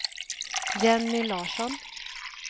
Jenny Larsson